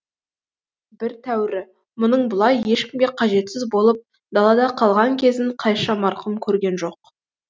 бір тәуірі мұның бұлай ешкімге қажетсіз болып далада қалған кезін қайша марқұм көрген жоқ